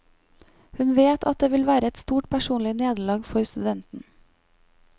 Hun vet at det vil være et stort personlig nederlag for studenten.